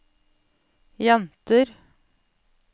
jenter